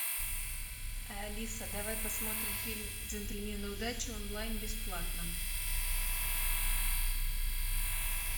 алиса давай посмотрим фильм джентльмены удачи онлайн бесплатно